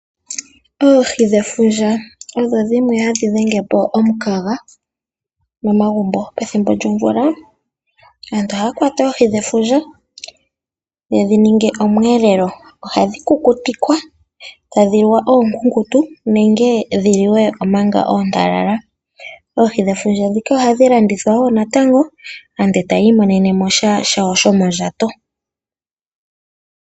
Oohi dhefundja odho dhimwe hadhi dhenge po omunkaga momagubo. Pethimbo lyomvula aantu ohaya kwata oohi dhefundja yedhininge omwelelo .Ohadhi kukutikwa etadhi liwa okukutu nenge dhiliwe omanga ontalala .Oohi dhefundja dhika ohadhi landithwa woo natango aantu etayi imonene mo sha shawo shomondjato.